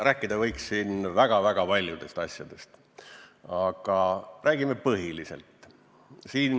Rääkida võiks siin väga-väga paljudest asjadest, aga räägime põhilisest.